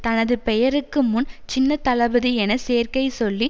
தனது பெயருக்கு முன் சின்ன தளபதி என சேர்க்கைச் சொல்லி